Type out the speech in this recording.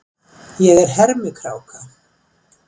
Ég er hermikráka.